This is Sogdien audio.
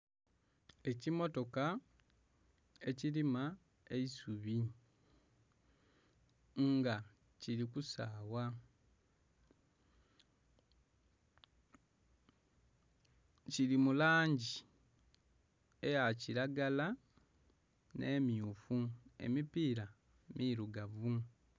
Ekimotoka ekirima eisubi nga kiri kusawa kiri mulangi eyakiragala n'emmyufu emipira mirugavu.